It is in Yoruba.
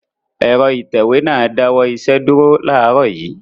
Ẹ̀rọ ìtẹ̀wé náà dáwọ́ iṣẹ́ dúró láàárọ̀ yìí.